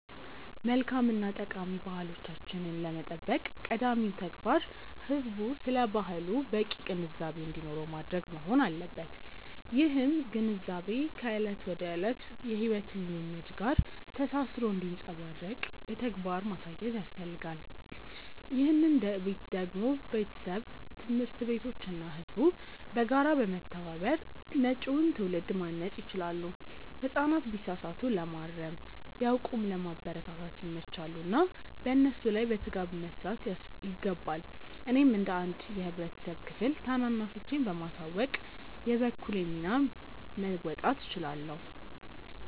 መልካም እና ጠቃሚ ባህሎቻችንን ለመጠበቅ ቀዳሚው ተግባር ህዝቡ ስለ ባህሉ በቂ ግንዛቤ እንዲኖረው ማድረግ መሆን አለበት። ይህም ግንዛቤ ከዕለት ተዕለት የሕይወት ልምምድ ጋር ተሳስሮ እንዲንጸባረቅ በተግባር ማሳየት ያስፈልጋል። ይህንን ደግሞ ቤተሰብ፣ ትምህርት ቤቶች እና ህዝቡ በጋራ በመተባበር መጪውን ትውልድ ማነጽ ይችላሉ። ህጻናት ቢሳሳቱ ለማረም፣ ቢያውቁም ለማበረታታት ይመቻሉና በእነሱ ላይ በትጋት መስራት ይገባል። እኔም እንደ አንድ የህብረተሰብ ክፍል ታናናሾቼን በማሳወቅ የበኩሌን ሚና መወጣት እችላለሁ።